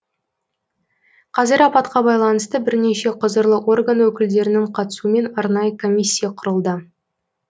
қазір апатқа байланысты бірнеше құзырлы орган өкілдерінің қатысуымен арнайы комиссия құрылды